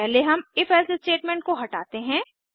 पहले हम if else statement को हटाते हैं